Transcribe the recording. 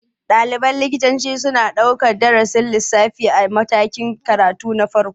Ɗaliban likitoci suna ɗaukar darasin lissafi a matakin karatu na farko.